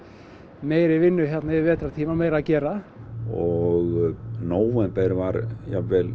meiri vinnu hérna yfir vetrartímann meira að gera og nóvember var jafnvel